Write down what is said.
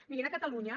mirin a catalunya